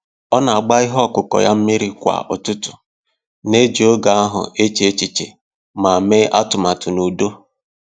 Ọ na agba ihe ọkụkụ ya mmiri kwa ụtụtụ, na-eji oge ahụ eche echiche ma mee atụmatụ n'udo.